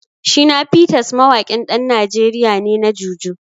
Shina Peters mawaƙin ɗan Najeriya ne na Jùjú.